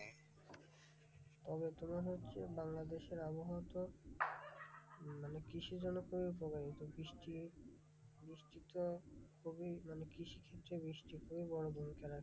তবে তোমার হচ্ছে বাংলাদেশের আবহওয়াতো মানে কৃষিজনক ভাবে উপকারী, তো বৃষ্টি বৃষ্টিটা খুবই মানে কৃষিক্ষেত্রে বৃষ্টি খুবই বড়ো ভূমিকা রাখে।